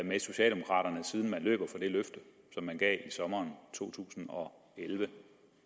med socialdemokraterne siden man løber fra det løfte som man gav i sommeren to tusind og elleve